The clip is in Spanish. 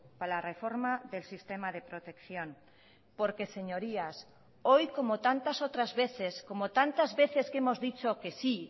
para la reforma del sistema de protección porque señorías hoy como tantas otras veces como tantas veces que hemos dicho que sí